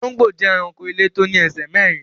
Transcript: Olongbo jẹ́ èránkò ilẹ̀ tó ní èṣè mẹ̀rìn.